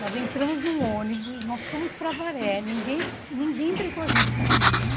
Nós entramos num ônibus, nós fomos para Avaré, ninguém ninguém brecou a gente no caminho.